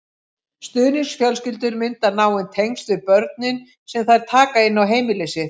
Stuðningsfjölskyldur mynda náin tengsl við börnin sem þær taka inn á heimili sitt.